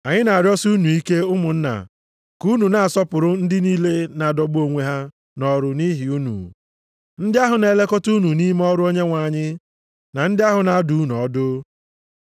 Anyị na-arịọsị unu ike, ụmụnna, ka unu na-asọpụrụ ndị niile na-adọgbu onwe ha nʼọrụ nʼihi unu, ndị ahụ na-elekọta unu nʼime ọrụ Onyenwe anyị, na ndị ahụ na-adụ unu ọdụ.